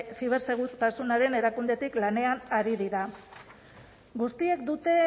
zibersegurtasunaren erakundetik lanean ari dira guztiek dute